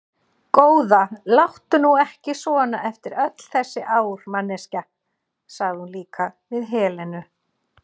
Góða, láttu nú ekki svona eftir öll þessi ár, manneskja, sagði hún líka við Helenu.